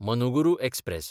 Manuguru express